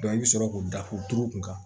i bɛ sɔrɔ k'u datugu kun kan